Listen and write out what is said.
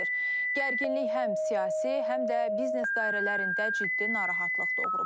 Gərginlik həm siyasi, həm də biznes dairələrində ciddi narahatlıq doğurub.